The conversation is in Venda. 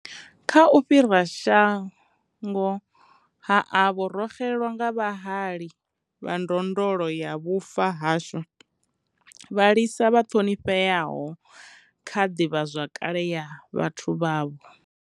Kha u fhira shango ha avho, ro xelelwa nga vhahali vha ndondolo ya vhufa ha shu, vhalisa vha ṱhonifheaho kha ḓivhazwakale ya vhathu vhavho.